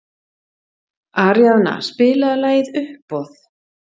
Aríaðna, spilaðu lagið „Uppboð“.